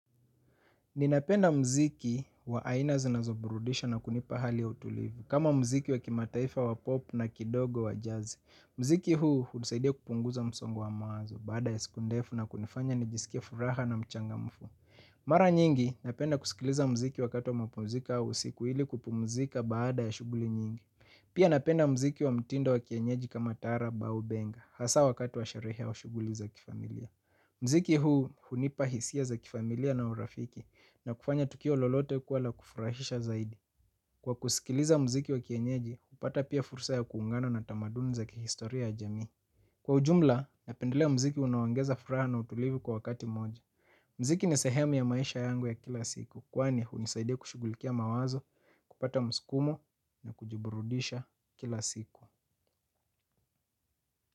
Ninapenda mziki wa aina zinazoburudisha na kunipa hali ya utulivu, kama mziki wa kimataifa wa popu na kidogo wa jazz. Mziki huu hutusaidia kupunguza msongo wa mawazo, baada ya siku ndefu na kunifanya nijisikie furaha na mchangamfu. Mara nyingi, napenda kusikiliza mziki wakati wa mapumziko au usiku ili kupumzika baada ya shuguli nyingi. Pia napenda mziki wa mtindo wa kienyeji kama tarabu au benga, hasa wakati wa sharehe wa shuguli za kifamilia. Mziki huu hunipa hisia za kifamilia na urafiki na kufanya tukio lolote kwa la kufurahisha zaidi. Kwa kusikiliza mziki wa kienyeji, upata pia fursa ya kuungana na tamaduni za kihistoria ya jamii. Kwa ujumla, napendelea mziki unaongeza furaha na utulivi kwa wakati moja. Mziki ni sehemu ya maisha yangu ya kila siku kwani hunisaidia kushugulikia mawazo, kupata mskumo na kujiburudisha kila siku.